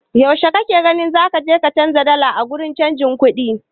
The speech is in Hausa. Yaushe kake gani zaka je ka canja dala a wurin canja kuɗi?